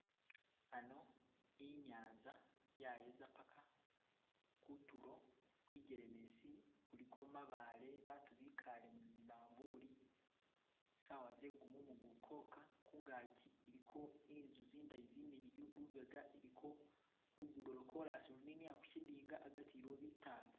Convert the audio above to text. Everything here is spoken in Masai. Hano inyanza, yayeza paka kutulo, kwijelemesi kuliko mabaale, bantu bikaale ni zimavulu, sawa ze gumumu guli koka, kungangi kuliko zinzu zindayi zimiliwu, lubega iliko lugudo lwo kolasi luninila kukidinga hagati iliwo bitaala